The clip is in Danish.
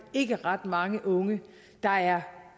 ikke ret mange unge der er